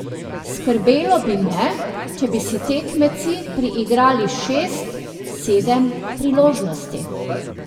Skrbelo bi me, če bi si tekmeci priigrali šest, sedem priložnosti.